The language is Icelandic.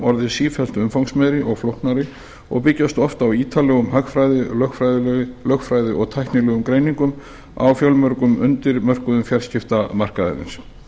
orðið sífellt umfangsmeiri og flóknari og byggjast oft á ítarlegum hagfræði lögfræði og tæknilegum greiningum á fjölmörgum undirmörkuðum fjarskiptamarkaðarins